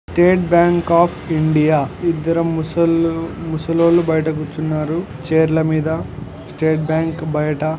State state bank of India ఇద్దరు. ముసలో_ ముసలోళ్ళు బయట-----